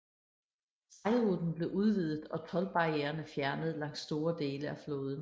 Sejlruten blev udvidet og toldbarriererne fjernet langs store dele af floden